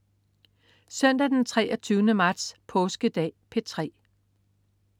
Søndag den 23. marts. Påskedag - P3: